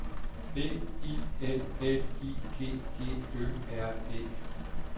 B I L L I G G Ø R E